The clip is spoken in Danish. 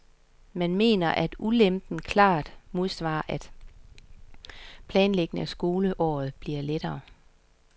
Han mener, at ulempen klart modsvares af, at planlægningen af skoleåret bliver lettere.